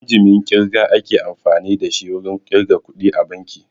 Injimin ƙirga ake amfani da shi wurin ƙirga kuɗi a banki